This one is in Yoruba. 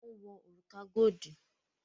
Wọn wo òrùka godi